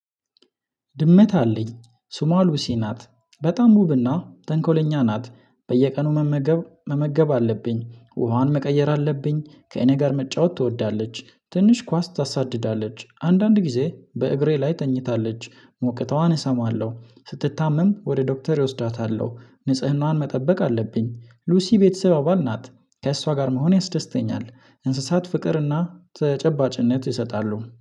ድመት አለኝ ስሟ ሉሲ ናት በጣም ዉብና ተንኮለኛ ናት። በየቀኑ መመገብ መመገብ አለብኝ ውሃዋን መቀየር አለብኝ ከእኔ ጋር መጫወት ትወዳለች ትንሽ ኳስ ታሳድዳለች አንዳንድ ጊዜ በእግሬ ላይ ተኝታለች ሞቅተዋን እሰማለው ስትታመም ወደ ዶክተር እወስዳታለው ንጽህናዋን መጠበቅ አለብኝ። ሉሲ ቤተሰብ አባል ናት። ከእሷ ጋር መሆን ያስደስተኛል እንስሳት ፍቅርና ተጨባጭነት ይሰጣሉ።